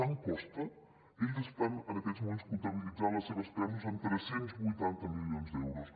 tant costa ells estan en aquests moments comptabilitzant les seves pèrdues en tres cents i vuitanta milions d’euros